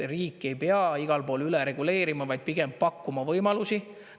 Riik ei pea igal pool üle reguleerima, vaid pigem pakkuma võimalusi.